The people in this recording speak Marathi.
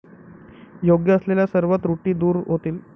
योग्य असलेल्या सर्व त्रुटी दूर होतील.